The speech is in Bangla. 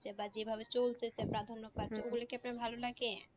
বা যেভাবে চলতে সে প্রাধান্য পাচ্ছে কি আপনার ভালো লাগে?